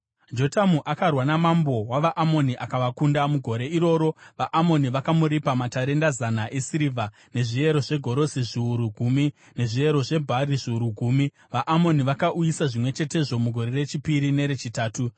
Jotamu akarwa namambo wavaAmoni akavakunda. Mugore iroro vaAmoni vakamuripa matarenda zana esirivha, nezviyero zvegorosi zviuru gumi , nezviyero zvebhari zviuru gumi. VaAmoni vakauyisa zvimwe chetezvo mugore rechipiri nerechitatu.